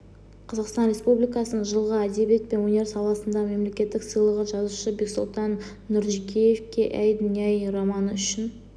қазақстан республикасының жылғы әдебиет пен өнер саласындағы мемлекеттік сыйлығы жазушы бексұлтан нұржекеевке әй дүние-ай романы үшін